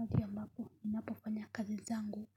Wakati ambapo ninapofanya kazi zangu